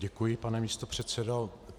Děkuji, pane místopředsedo.